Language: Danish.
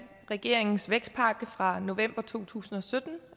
regeringens vækstpakke fra november to tusind og sytten